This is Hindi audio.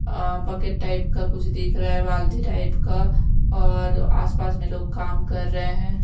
अ बकेट टाइप का कुछ दिख रहा है बाल्टी टाइप का और आसपास में लोग काम कर रहे हैं।